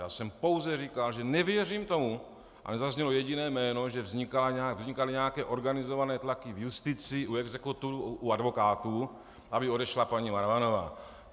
Já jsem pouze říkal, že nevěřím tomu - a nezaznělo jediné jméno -, že vznikaly nějaké organizované tlaky v justici, u exekutorů, u advokátů, aby odešla paní Marvanová.